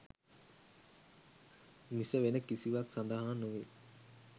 මිස වෙන කිසිවක් සඳහා නොවේ.